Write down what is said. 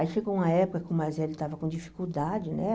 Aí chegou uma época que o mais velho estava com dificuldade, né?